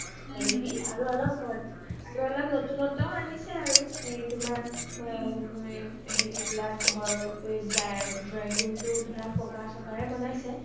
আৰু অলপ নতুন নতুন আনিছে আৰু এই তোমাৰ ঘৰ হেৰি বিলাক drawing ৰোম ধৰা পকা চকাৰে বনাইছে